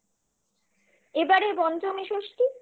এবারের পঞ্চমী ষষ্ঠী